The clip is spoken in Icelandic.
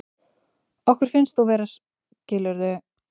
Okkur finnst þú vera, skilurðu.